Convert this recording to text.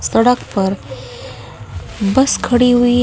सड़क पर बस खड़ी हुई--